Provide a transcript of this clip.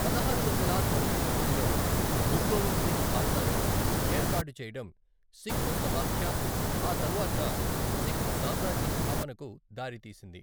పదహారు వందల తొంభై తొమ్మిదిలో గురు గోవింద్ సింగ్ ఖాల్సాను ఏర్పాటు చేయడం సిక్కు సమాఖ్య, ఆ తరువాత సిక్కు సామ్రాజ్య స్థాపనకు దారితీసింది.